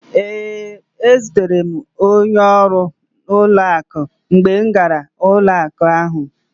Ee, ezutere m onye ọrụ ụlọakụ mgbe m gara ụlọakụ ahụ.